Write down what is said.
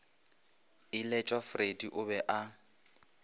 iletšwa freddie o be a